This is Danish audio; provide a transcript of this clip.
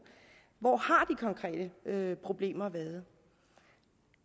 hvor har konkrete problemer været